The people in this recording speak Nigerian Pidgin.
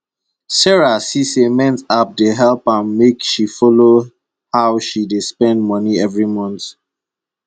sarah see say mint app dey help am make she follow how she dey spend moni every month